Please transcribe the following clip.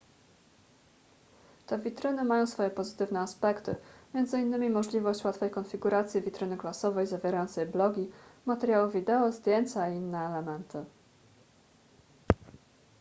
te witryny mają swoje pozytywne aspekty m.in możliwość łatwej konfiguracji witryny klasowej zawierającej blogi materiały wideo zdjęcia i inne elementy